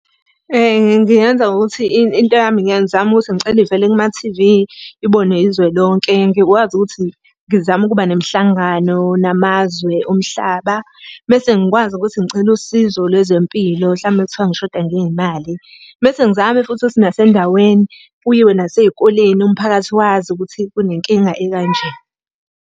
Ngingenza ngokuthi into yami ngike ngizame ukuthi ngicela ivele kuma-T_V, ibonwe izwe lonke. Ngikwazi ukuthi ngizame ukuba nemihlangano namazwe omhlaba. Mese ngikwazi ukuthi ngicele usizo lwezempilo hlampe uma kuthiwa ngishoda ngey'mali. Mese ngizame futhi ukuthi nasendaweni, kuyiwe nasey'koleni umphakathi wazi ukuthi kune nkinga ekanje.